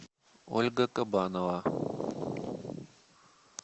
ольга кабанова